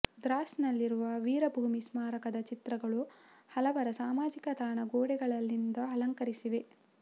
ದ್ರಾಸ್ ನಲ್ಲಿರುವ ವೀರಭೂಮಿ ಸ್ಮಾರಕದ ಚಿತ್ರಗಳು ಹಲವರ ಸಾಮಾಜಿಕ ತಾಣದ ಗೋಡೆಗಳನ್ನಿಂದು ಅಲಂಕರಿಸಿವೆ